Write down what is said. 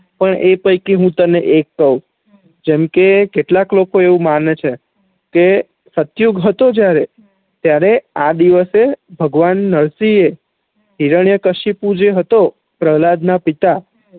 પણ એ પૈકી હુ તને એક કવ જેમ કે કેટલાક લોકો એવું માને છે કે સતયુગ હતો જયારે ત્યારે આ દિવશે ભગવાન નરસીંહ એ હીરાન્યક્ષ્ય્પુ જે હતો પ્રેહ્લાદના પિતા